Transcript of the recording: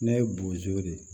Ne ye bozo de ye